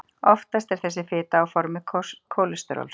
Oftast er þessi fita á formi kólesteróls.